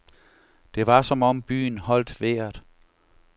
Det var som om byen holdt vejret.